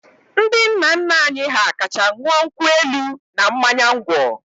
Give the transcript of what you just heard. Ndị nna nna anyị ha kacha ṅụọ nkwụ elu na mmanya ngwọ.